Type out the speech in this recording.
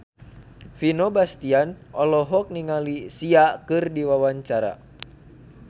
Vino Bastian olohok ningali Sia keur diwawancara